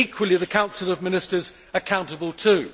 and equally the Council of Ministers accountable too.